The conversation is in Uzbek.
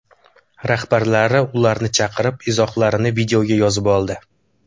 Rahbarlari ularni chaqirib, izohlarini videoga yozib oldi.